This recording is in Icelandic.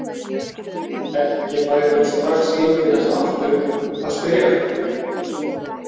Ekki færi hún strax inn til hans aftur að spyrja.